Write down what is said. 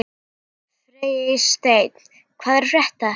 Freysteinn, hvað er að frétta?